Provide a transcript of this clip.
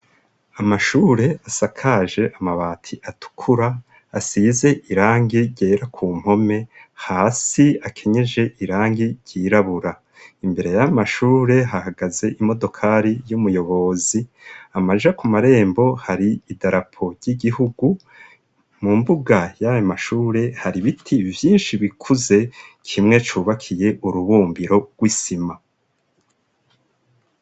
Amashure asakaje amabati atukura, asize irangi ryera ku mpome, hasi akenyeje irangi ryirabura, imbere y'amashure hahagaze imodokari y'umuyobozi, amaja ku marembo hari idarapo ry'igihugu, mu mbuga y'ayo mashure hari ibiti vyinshi bikuze, kimwe cubakiye urubumbiro rw'isima.